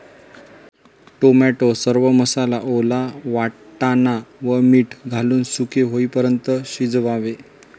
Tomato, सर्व मसाला, ओला वाटाणा व मीठ घालून सुके होईपर्यंत शिजवावे.